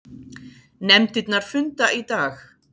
Nefndirnar funda í dag